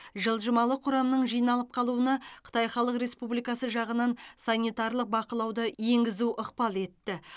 жылжымалы құрамның жиналып қалуына қытай халық республикасы жағынан санитарлық бақылауды енгізу ықпал етті